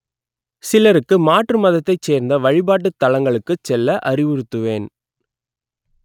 சிலருக்கு மாற்று மதத்தைச் சேர்ந்த வழிபாட்டுத் தலங்களுக்கு செல்ல அறிவுறுத்துவேன்